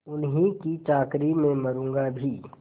उन्हीं की चाकरी में मरुँगा भी